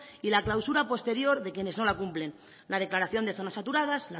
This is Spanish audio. y la clausura posterior de quienes no la cumplen la declaración de zonas saturadas